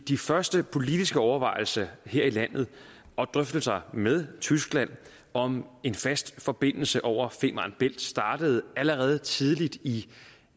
de første politiske overvejelser her i landet og drøftelser med tyskland om en fast forbindelse over femern bælt startede allerede tidligt i